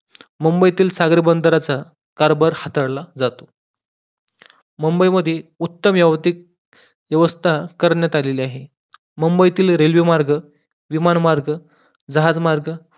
मुंबईतील सागरी बंदराचा कारभार हाताळला जातो मुंबई मध्ये व्यवस्था करण्यात आलेली आहे मुंबईतील रेल्वेमार्ग, विमानमार्ग, जहाजमार्ग